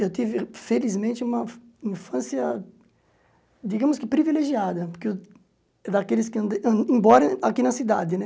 Eu tive, felizmente, uma infância, digamos que privilegiada, porque eu daqueles am embora aqui na cidade, né?